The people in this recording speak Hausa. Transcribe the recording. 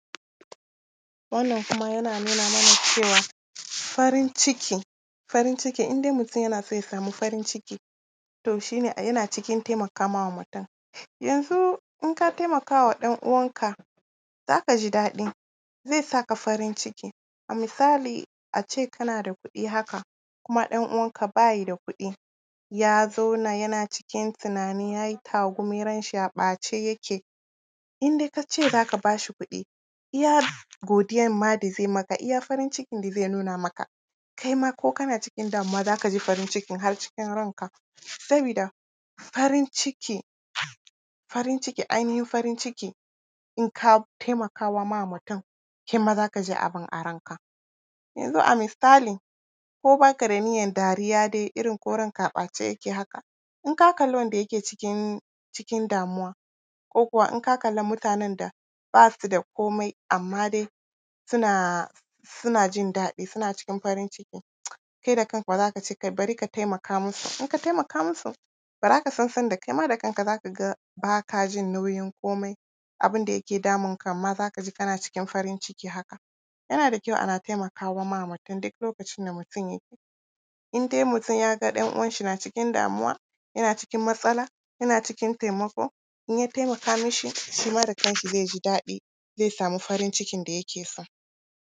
Wannan kuma yana nuna mana cewa, farin ciki, farin ciki, in dai mutum yana so ya samu farin ciki, to shi ne yana cikin taimaka ma mutum. Yanzu in ka taimaka wa ɗan uwanka, za ka ji daɗi, zai sa ka farin ciki. A misali, a ce kana da kuɗi haka kuma ɗan uwanka ba ya da kuɗi, ya zauna, yana cikin tunani, ya yi tagumi, ranshi a ɓace yake, in dai ka ce za ka ba shi kuɗi, iya godiyanma da zai yi maka, iya farin cikin da zai nuna maka, kai ma ko kana cikin damuwa, za ka ji farin cikin har cikin ranka, sabida farin ciki, farin ciki, ainihin farin ciki, in ka taimaka wa mutum, kai ma za ka ji abin a ranka. Yanzu a misali, ko ba ka da niyyan dariya, irin dai ko ranka a ɓace yake haka, in ka kalli wanda yake cikin, cikin damuwa, ko kuwa in ka kalli mutanen da ba su da komai, amma dai suna, suna jin daɗi, suna cikin farin ciki, kai da kanka ma za ka ce, kai bari ka taimaka musu. In ka taimaka musu, ba za ka san sanda kai ma da kanka za ka ga ba ka ji nauyin komai. Abin da yake damun ka ma, za ka ji kana cikin farin ciki haka. Yana da kyau ana taimaka wa ma mutum, duk lokacin da mutum in dai mutum ya ga ɗan uwanshi na cikin damuwa, yana cikin matsala, yana cikin taimako, in ya taimaka mishi, shi ma da kanshi zai ji daɗi, zai samu farin cikin da yake so.